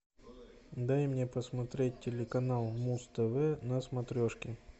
дай мне посмотреть телеканал муз тв на смотрешке